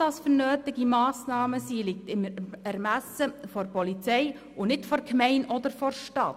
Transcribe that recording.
Welche Massnahmen das sind, liegt im Ermessen der Polizei und nicht der Gemeinde oder der Stadt.